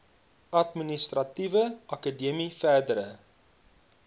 administratiewe akademie verdere